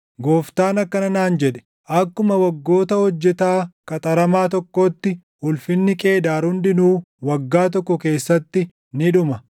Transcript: Gooftaan akkana naan jedhe: “Akkuma waggoota hojjetaa qaxaramaa tokkootti ulfinni Qeedaar hundinuu waggaa tokko keessatti ni dhuma.